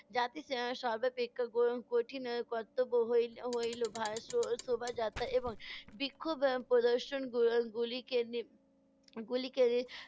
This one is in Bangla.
জাতির এর সর্বাপেক্ষা ক~ কঠিন এর কর্তব্য হই~ হইল ভা~ এর শো~ শোভাযাত্রা এবং বিক্ষোভ এর প্রদর্শন গু~ গুলিকে গুলিকে